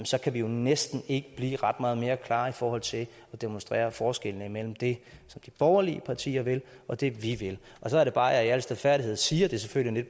så kan vi jo næsten ikke blive ret meget mere klare i forhold til at demonstrere forskellene imellem det som de borgerlige partier vil og det vi vil så er det bare at jeg i al stilfærdighed siger det er selvfølgelig